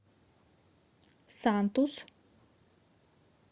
сантус